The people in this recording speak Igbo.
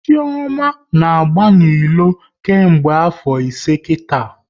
Chioma na agba n'ilo nke mgbe afo ise kita